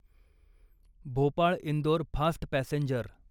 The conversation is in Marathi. Bhopal Indore fast passenger